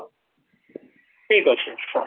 ଠିକ ଅଛି, ସାର